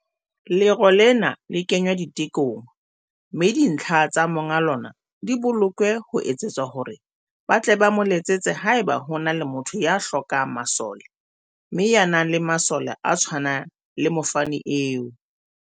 Lero lena le kengwa ditekong mme dintlha tsa monga lona di bolokwe ho etsetsa hore ba tle ba mo letsetse haeba ho na le motho ya hlokang masole mme ya nang le masole a tshwanang le mofani eo.